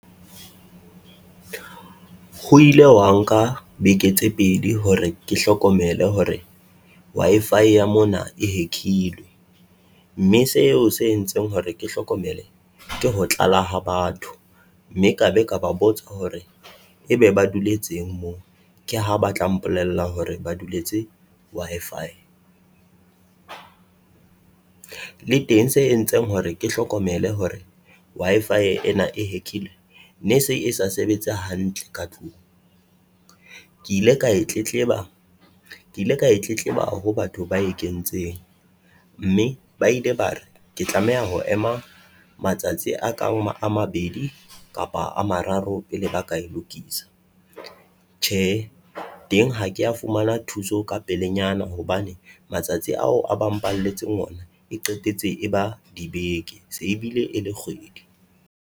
Ho ile wa nka beke tse pedi hore ke hlokomele hore Wi-Fi ya mona e hack-ilwe, mme seo se entseng hore ke hlokomele. Ke ho tlala ha batho, mme ka be ka ba botsa hore ebe ba duletseng moo? Ke ha ba tla mpolella hore ba duletse Wi-Fi. Le teng se entseng hore ke hlokomele hore Wi-Fi ena e hack-ilwe ne se e sa sebetse hantle ka tlung. Ke ile ka e tletleba Ke ile ka e tletleba ho batho ba e kentseng, mme ba ile ba re ke tlameha ho ema matsatsi a ka a mabedi kapa a mararo pele ba ka e lokisa. Tjhe teng Ha kea fumana thuso ka pelenyana hobane matsatsi ao a ba mpalletseng ona e qetetse e ba dibeke se ebile e le kgwedi.